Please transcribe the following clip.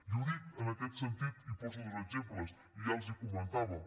i ho dic en aquest sentit i poso dos exemples i ja els hi comentàvem